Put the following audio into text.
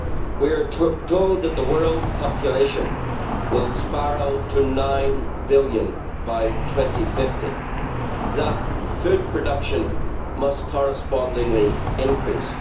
We are told that the world population will spiral to nine billion by 2050, thus food production must correspondingly increase.